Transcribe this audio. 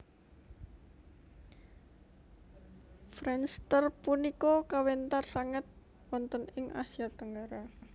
Friendster punika kawentar sanget wonten ing Asia Tenggara